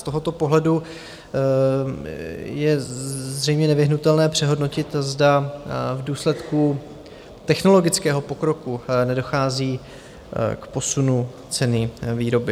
Z tohoto pohledu je zřejmě nevyhnutelné přehodnotit, zda v důsledku technologického pokroku nedochází k posunu ceny výroby.